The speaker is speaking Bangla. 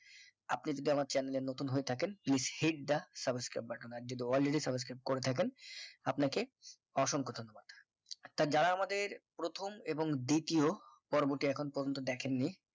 আপনি যদি আমার chanel এ নতুন হয়ে থাকেন please hit the subscribe button আর যদি already subscribe করে থাকেন আপনাকে অসংখ্য ধন্যবাদ তা যারা আমাদের প্রথম এবং দ্বিতীয় পর্বটি এখনো পর্যন্ত দেখেননি